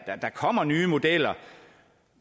kommer nye modeller